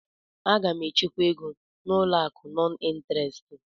A ga m echekwa ego n'ụlọ akụ nọn ịnterest.